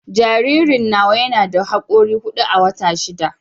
Jaririn nawa yana da hakora hudu a wata shida